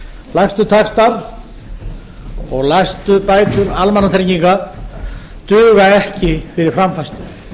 lægstu taxtar og lægstu bætur almannatrygginga duga ekki fyrir framfærslu við